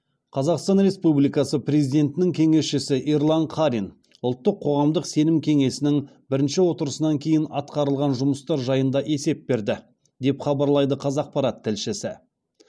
қазақстан республикасы президентінің кеңесшісі ерлан қарин ұлттық қоғамдық сенім кеңесінің бірінші отырысынан кейін атқарылған жұмыстар жайында есеп берді деп хабарлайды қазақпарат тілшісі